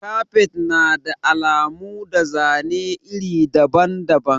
Kafet na da alamu da zane iri daban-daban.